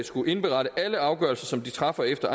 skulle indberette alle afgørelser som de træffer efter